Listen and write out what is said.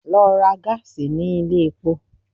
Lọ ra gáàsì ní ilé epo!